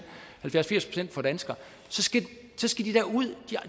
for danskere så skal